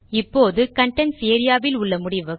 இப்போது contents area வில் உள்ள முடிவுகள்